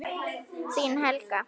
Þín Helga.